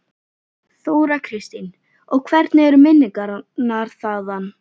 Þóra Kristín: Og hvernig eru minningarnar þaðan?